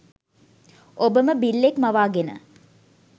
ඔබම බිල්ලෙක් මවාගෙන